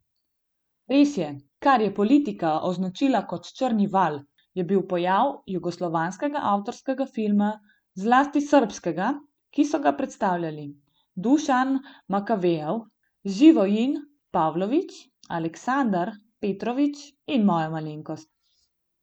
Res je, kar je politika označila kot črni val, je bil pojav jugoslovanskega avtorskega filma, zlasti srbskega, ki so ga predstavljali Dušan Makavejev, Živojin Pavlović, Aleksandar Petrović in moja malenkost.